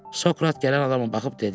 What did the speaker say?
Sokrat gələn adama baxıb dedi: